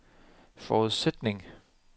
forudsætning